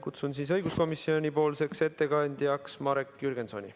Kutsun õiguskomisjoni ettekandjana pulti Marek Jürgensoni.